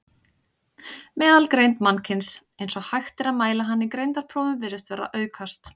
Meðalgreind mannkyns, eins og hægt er að mæla hana í greindarprófum, virðist vera að aukast.